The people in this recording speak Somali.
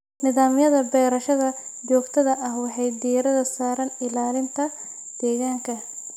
Nidaamyada beerashada joogtada ah waxay diiradda saaraan ilaalinta deegaanka.